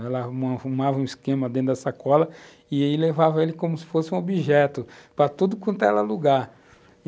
Ela arrumava um esquema dentro da sacola e levava ele como se fosse um objeto, para tudo quanto ela alugar.